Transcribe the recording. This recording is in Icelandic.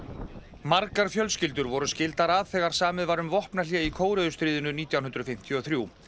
margar fjölskyldur voru skildar að þegar samið var um vopnahlé í Kóreustríðinu nítján hundruð fimmtíu og þrjú